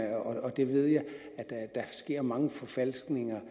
at der sker mange forfalskninger